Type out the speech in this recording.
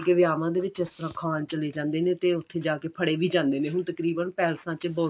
ਕੇ ਵਿਆਹਾਂ ਦੇ ਵਿੱਚ ਇਸ ਤਰ੍ਹਾਂ ਖਾਣ ਚਲੇ ਜਾਂਦੇ ਨੇ ਤੇ ਉੱਥੇ ਜਾ ਕੇ ਫੜੇ ਵੀ ਜਾਂਦੇ ਨੇ ਹੁਣ ਤਕਰੀਬਨ ਪੈਲਸਾਂ ਚ